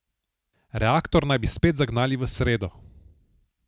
Reaktor naj bi spet zagnali v sredo.